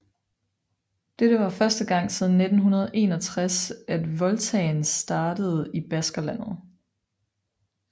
Dette var første gang siden 1961 at Vueltaen startede i Baskerlandet